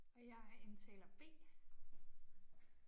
Og jeg er indtaler B